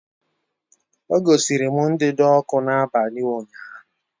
O gosiri m ndanda ọkụ n'abalị ụnyaahụ